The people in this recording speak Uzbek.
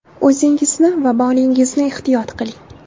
O‘zingizni va molingizni ehtiyot qiling!